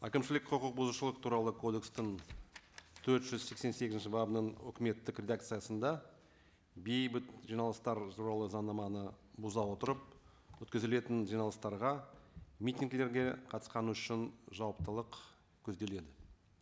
әкімшілік құқық бұзушылық туралы кодекстің төрт жүз сексен сегізінші бабының өкіметтік редакциясында бейбіт жиналыстар туралы заңнаманы бұза отырып өткізілетін жиналыстарға митингілерге қатысқаны үшін жауаптылық көзделеді